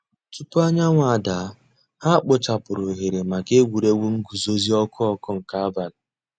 Túpọ̀ ànyáńwụ̀ dàá, hà kpochàpùrù òhèrè mǎká ègwè́ré́gwụ̀ ngùzòzì ǒkụ̀ ǒkụ̀ nke àbàlị̀.